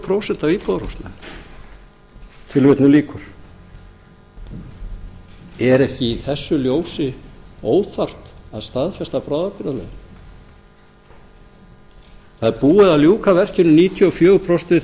prósent af íbúðarhúsunum er ekki í þessu ljósi óþarft að staðfesta bráðabirgðalögin það er búið að ljúka verkinu níutíu og fjögur prósent við